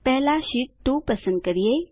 પહેલા શીટ 2 પસંદ કરીએ